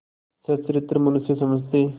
सच्चरित्र मनुष्य समझते